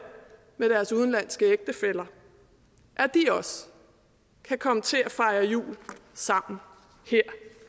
med deres udenlandske ægtefæller at de også kan komme til at fejre jul sammen her